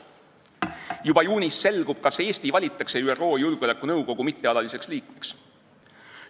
Juba juunis selgub, kas Eesti valitakse ÜRO Julgeolekunõukogu mittealaliseks liikmeks.